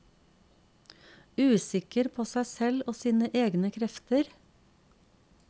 Usikker på seg selv og sine egne krefter.